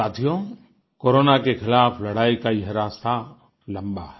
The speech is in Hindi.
साथियो कोरोना के खिलाफ़ लड़ाई का यह रास्ता लंबा है